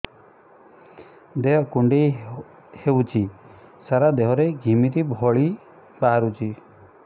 ଦେହ କୁଣ୍ଡେଇ ହେଉଛି ସାରା ଦେହ ରେ ଘିମିରି ଭଳି ବାହାରୁଛି